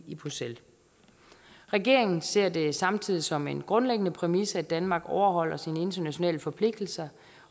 i bruxelles regeringen ser det samtidig som en grundlæggende præmis at danmark overholder sine internationale forpligtelser